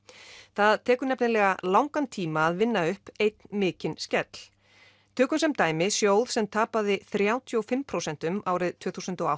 það tekur nefnilega langan tíma að vinna upp einn mikinn skell tökum sem dæmi sjóð sem tapaði þrjátíu og fimm prósent árið tvö þúsund og